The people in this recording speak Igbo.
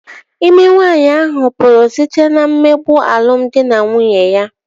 İme nwaanyi ahụ pụrụ site na mmegbu alụmdi na nwunye ya